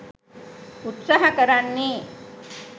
උත්සහ කරන්නේ.